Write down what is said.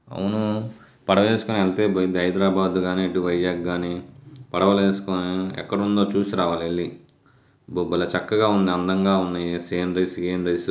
అవును పడవేసుకుని ఎల్తే బ-హైదరాబాద్ గాని ఇటు వైజాగ్ కాని పడవలేసుకుని ఎక్కడుందో చూసి రావాలి ఎల్లి. భలే చక్కగా ఉంది. అందంగా ఉంది.